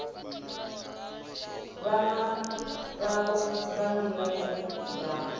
vhana vhavho nga nḓila ya